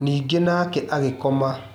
Ningĩ nake agĩkoma.